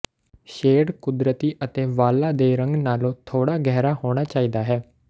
shade ਕੁਦਰਤੀ ਅਤੇ ਵਾਲਾਂ ਦੇ ਰੰਗ ਨਾਲੋਂ ਥੋੜ੍ਹਾ ਗਹਿਰਾ ਹੋਣਾ ਚਾਹੀਦਾ ਹੈ